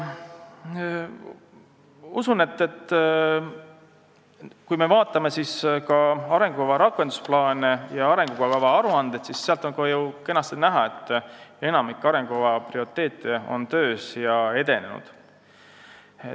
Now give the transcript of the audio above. Usun, et kui me vaatame arengukava rakendusplaane ja aruandeid, siis on sealt kenasti näha, et enamik arengukava prioriteete on töös ja edenenud.